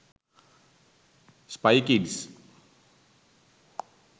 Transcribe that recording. spy kids